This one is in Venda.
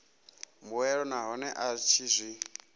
mbuelo nahone a tshi zwi